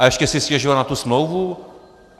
A ještě si stěžovat na tu smlouvu?